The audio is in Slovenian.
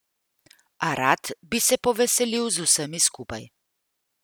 A rad bi se poveselil z vsemi skupaj.